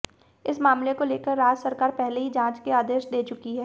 इस मामले को लेकर राज्य सरकार पहले ही जांच के आदेश दे चुकी है